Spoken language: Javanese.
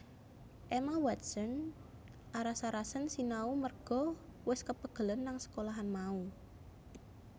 Emma Watson aras arasen sinau merga wes kepegelen nang sekolahan mau